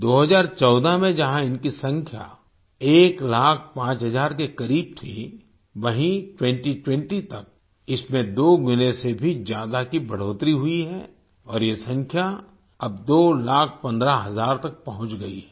2014 में जहां इनकी संख्या 1 लाख 5 हजार के करीब थी वहीं 2020 तक इसमें दोगुने से भी ज्यादा की बढ़ोतरी हुई है और ये संख्या अब 2 लाख 15 हजार तक पहुंच गई है